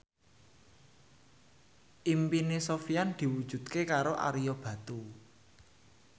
impine Sofyan diwujudke karo Ario Batu